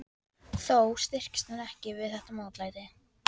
Þó styrktist hann ekki við þetta mótlæti.